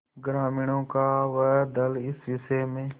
ग्रामीणों का वह दल इस विषय में